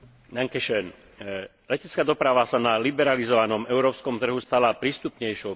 Letecká doprava sa na liberalizovanom európskom trhu stala prístupnejšou pre všetkých cestujúcich.